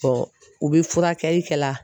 u bɛ furakɛli kɛ la.